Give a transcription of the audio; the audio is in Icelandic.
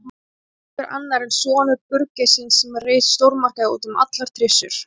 Einhver annar en sonur burgeissins sem reisir stórmarkaði út um allar trissur.